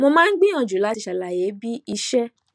mo máa ń gbìyànjú láti ṣàlàyé bí iṣẹ